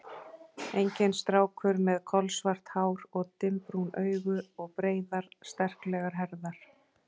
Enginn strákur með kolsvart hár og dimmbrún augu og breiðar, sterklegar herðar.